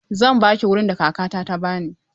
Zan ba ki wurin da Kakata ta ba ni.